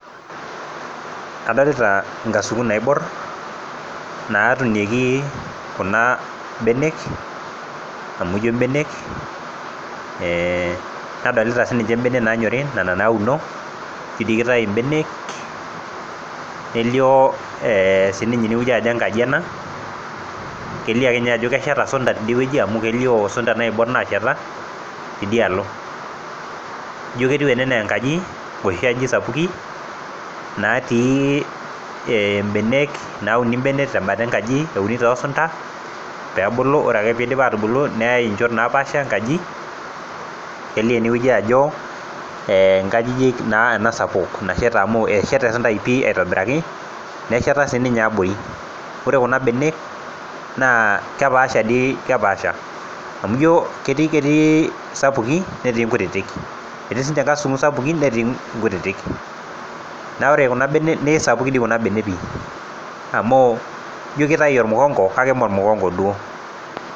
Adolita inkasukun naiborr natunieki kuna benek amu injio imbenek nadolita sininche imbenek nanyori nena nauno injio dii kitayu imbenek nelio eh sininye inewueji ajo enkaji ena kelio akeninye ajo kesheta isunta tidiewueji amu kelio isunta naiborr nasheta tiadialo ijio ketiu ene enaa enkaji iloshi ajijik sapuki natii eh imbenek nauni imbenek tembata enkaji euni tosunta peebulu ore ake piidip atubulu neyae inchot napaasha enkaji elio enewueji ajo eh inkajijik naa ena sapuk nasheta amu esheta esuntai pii aitobiraki nesheta siniye abori ore kuna benek naa kepaasha dii kepaasha amu ijo ketii isapuki netii inkutitik etii sinche inkasukun sapukin netii inkutitik naore kuna benek neisapukin dei kuna benek pii amu ijio kitai ormukongo kake imee ormukongo duo.